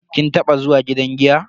Kin taba zuwa gidan giya?